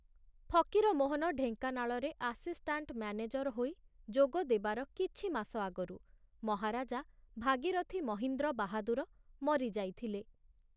ଫକୀରମୋହନ ଢେଙ୍କାନାଳରେ assistant manager ହୋଇ ଯୋଗ ଦେବାର କିଛି ମାସ ଆଗରୁ ମହାରାଜା ଭାଗୀରଥି ମହୀନ୍ଦ୍ର ବାହାଦୁର ମରିଯାଇଥିଲେ।